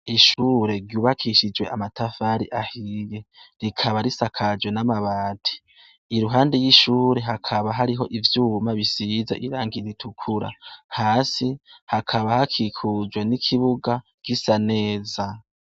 Ishure ryubakishije amatafari ahiye, rikaba risakajwe n'amabati, iruhande y'ishure hakaba hariho ivyuma bisize irangi ritukura. Hasi hakaba hakikujwe n'ikibuga gisa neza.